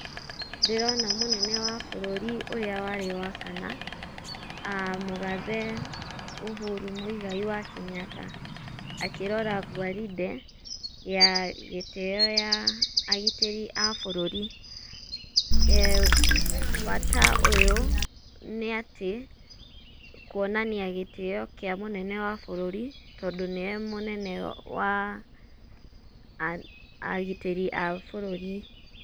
Ndĩrona mũnene wa bũrũri ũrĩa warĩ wa kana, mũgathe Uhuru Mũigai wa Kenyatta akĩrora gwarinde ya gĩtĩo ya agitĩri a bũrũri. Bata ũyũ nĩ atĩ kuonania gĩtĩo kĩa mũnene wa bũrũri, tondũ nĩwe mũnene wa agitĩri a bũrũri.